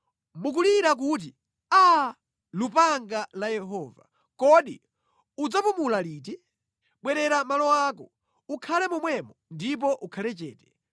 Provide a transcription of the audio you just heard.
“Mukulira kuti, ‘Aa, lupanga la Yehova, kodi udzapumula liti? Bwerera mʼmalo ako; ukhale momwemo ndipo ukhale chete.’